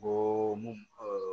O mun